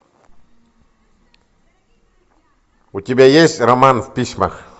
у тебя есть роман в письмах